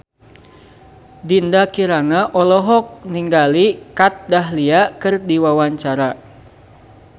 Dinda Kirana olohok ningali Kat Dahlia keur diwawancara